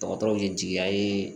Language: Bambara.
Dɔgɔtɔrɔw ye jigiya ye